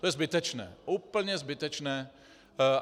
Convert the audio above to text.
To je zbytečné, úplně zbytečné.